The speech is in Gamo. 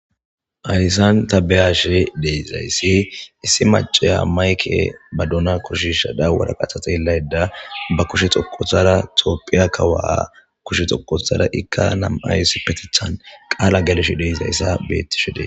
Hayssan ta beyashe deiizayssi issi maceya mayke ba duna kushisha da waraqathatelayda ba kushe xoqothara toopphiya kawaa kushe xoqothara ikka namayssi petethan qaala gelsh deizayssa beettisho dee